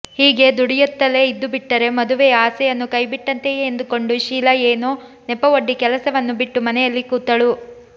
ಹೀಗೇ ದುಡಿಯುತ್ತಲೇ ಇದ್ದುಬಿಟ್ಟರೆ ಮದುವೆಯ ಆಸೆಯನ್ನು ಕೈಬಿಟ್ಟಂತೆಯೇ ಎಂದುಕೊಂಡು ಶೀಲಾ ಏನೋ ನೆಪವೊಡ್ಡಿ ಕೆಲಸವನ್ನು ಬಿಟ್ಟು ಮನೆಯಲ್ಲಿ ಕೂತಳು